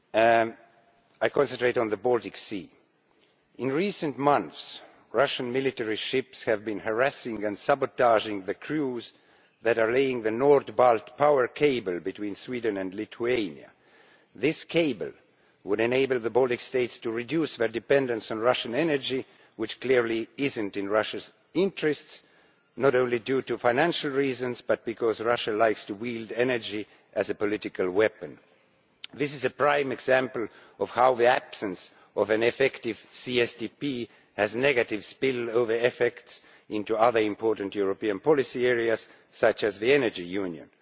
I will concentrate on the Baltic Sea. In recent months, Russian military ships have been harassing and sabotaging the crews that are laying the NordBalt power cable between Sweden and Lithuania. This cable would enable the Baltic states to reduce their dependence on Russian energy, which clearly is not in Russiaʼs interests, not only for financial reasons but because Russia likes to wield energy as a political weapon. This is a prime example of how the absence of an effective CSDP has negative spillover effects into other important European policy areas such as the energy union.